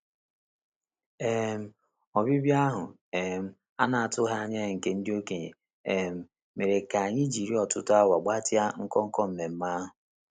um Ọbịbịa ahụ um a na-atụghị anya ya nke ndị okenye um mere ka anyị jiri ọtụtụ awa gbatịa nnọkọ nmenme ahụ.